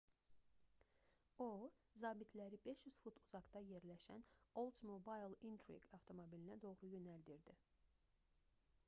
o zabitləri 500 fut uzaqda yerləşən oldsmobile intrigue avtomobilinə doğru yönləndirdi